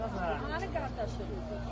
Hara gedir, hara gedir?